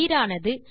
நீரானது